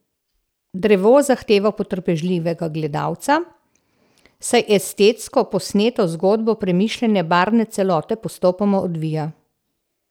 Drevo zahteva potrpežljivega gledalca, saj estetsko posneto zgodbo premišljene barvne celote postopoma odvija.